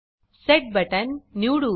Setबटन निवडू